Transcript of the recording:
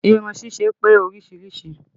Irun ṣíṣe pé oríṣiríṣìí